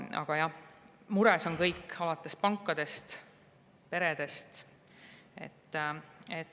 Aga jah, mures on kõik, näiteks pangad ja pered.